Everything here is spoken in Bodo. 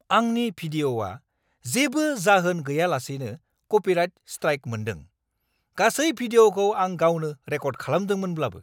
आंनि भिडिअ'आ जेबो जाहोन गैयालासेनो कपिराइट स्ट्राइक मोन्दों। गासै भिडिअ'खौ आं गावनो रेकर्द खालामदोंमोनब्लाबो।